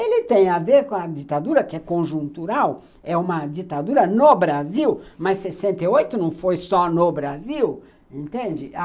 Ele tem a ver com a ditadura, que é conjuntural, é uma ditadura no Brasil, mas sessenta e oito não foi só no Brasil, entende?